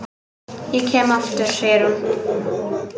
Ég kem aftur, segir hún.